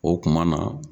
O kuma na